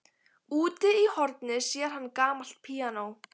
Úti í horni sér hann gamalt píanó.